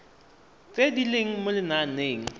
tse di leng mo lenaaneng